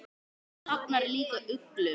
Hún safnar líka uglum.